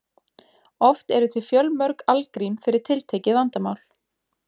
Oft eru til fjölmörg algrím fyrir tiltekið vandamál.